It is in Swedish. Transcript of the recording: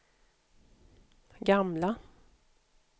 gamla